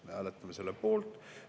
Me hääletame selle poolt.